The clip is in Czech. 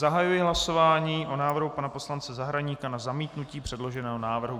Zahajuji hlasování o návrhu pana poslance Zahradníka na zamítnutí předloženého návrhu.